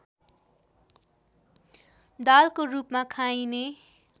दालको रूपमा खाइने